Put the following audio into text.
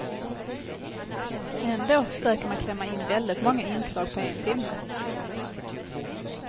Ändå försöker man klämma in väldigt många inslag på en timme.